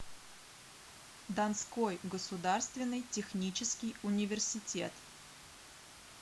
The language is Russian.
донской государственный технический университет